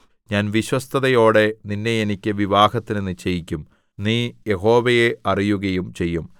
ഞാൻ വിശ്വസ്തതയോടെ നിന്നെ എനിക്ക് വിവാഹത്തിന് നിശ്ചയിക്കും നീ യഹോവയെ അറിയുകയും ചെയ്യും